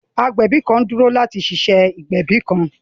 Agbẹbi kan n duro lati ṣe iṣe igbẹbi kan.